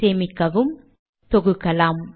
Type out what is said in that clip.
சேமிக்கவும் தொகுக்கலாம்